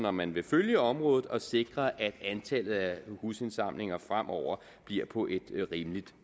om man vil følge området og sikre at antallet af husindsamlinger fremover bliver på et rimeligt